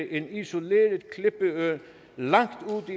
en isoleret klippeø langt